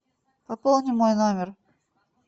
пополни мой номер